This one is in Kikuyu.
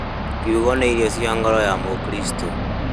Kiugo nĩ irio cia ngoro ya mũkristo